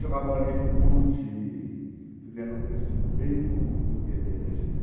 Jogar bolinha de gude, quer dizer, era uma coisa assim, bem comum no dia a dia da gente.